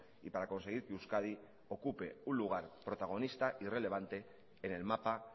y para conseguir que euskadi ocupe un lugar protagonista y relevante en el mapa